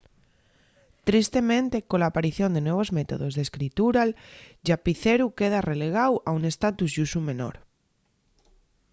tristemente cola aparición de nuevos métodos d’escritura'l llápiceru queda relegáu a un estatus y usu menor